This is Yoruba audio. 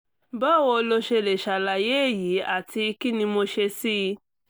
báwo lo ṣe lè ṣàlàyé èyí àti kí ni mo ṣe sí i?